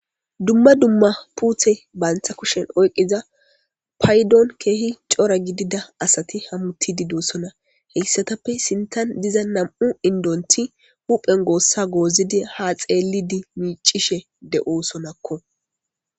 dumma dumma puuthe baantha kushen oyqiza paydon keehi cora gidida asati hammutididoosona heyssatappe sintan diza nam'u indonti huphen goossa goozidi ha xeellidi miicishe de'osonakko